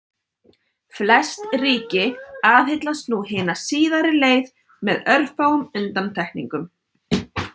Flest ríki aðhyllast nú hina síðari leið með örfáum undantekningum.